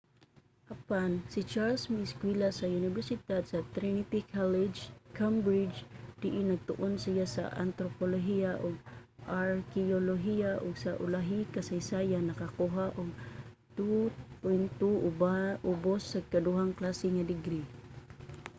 apan si charles miiskwela sa unibersidad sa trinity college cambridge diin nagtuon siya sa antropolohiya ug arkeyolohiya ug sa ulahi kasaysayan nakakuha og 2:2 ubos nga ikaduhang klase nga degree